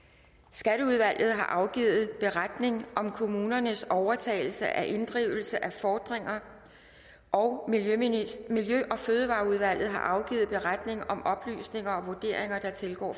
skatteudvalget har afgivet beretning om kommunernes overtagelse af inddrivelse af fordringer og miljø og fødevareudvalget har afgivet beretning om oplysninger og vurderinger der tilgår